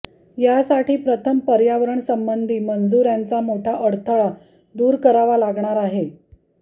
यासाठी प्रथम पर्यावरणसंबंधी मंजुऱ्यांचा मोठा अडथळा दूर करावा लागणार आहे